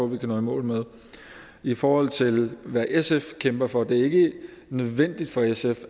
vi kan nå i mål med i forhold til hvad sf kæmper for at det ikke er nødvendigt for sf